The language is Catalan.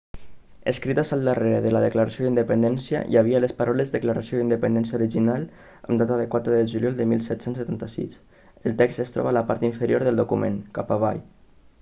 escrites al darrere de la declaració d'independència hi havia les paraules declaració d'independència original amb data 4 de juliol de 1776 el text es troba a la part inferior del document cap avall